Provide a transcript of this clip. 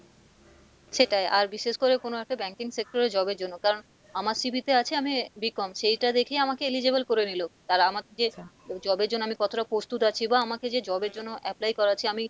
সেটাই আর বিশেষ করে কোনো একটা banking sector এ job এর জন্য কারণ আমার CV তে আছে আমি b.com সেইটা দেখে আমাকে eligible করে নিলো তারা আমাকে যে job এর জন্য আমি কতটা প্রস্তুত আছি বা আমাকে যে job এর জন্য apply করাচ্ছে আমি,